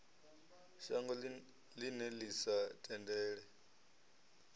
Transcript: shango ḽine ḽi sa tendele